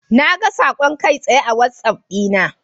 Naga saƙon kai tsaye a wazaf dina.